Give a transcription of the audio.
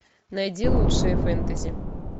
найди лучшие фэнтези